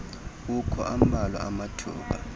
ukho ambalwa amathuba